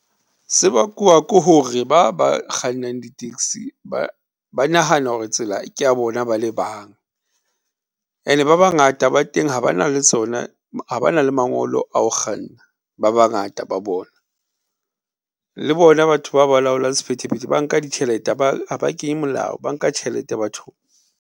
Se bakwa ke hore, ba ba kgannang di taxi ba nahana hore tsela kea bona bale bang and-e ba bangata ba teng ha ba na le tsona, ha ba na le mangolo a ho kganna ba bangata ba bona, le bona batho ba balaolang sephethephethe ba nka ditjhelete ha ba kenye molao, ba nka tjhelete bathong.